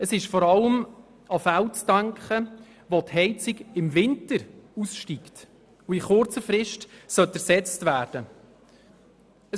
Man muss vor allem an Fälle denken, wo die Heizung im Winter aussteigt und in kurzer Frist ersetzt werden sollte.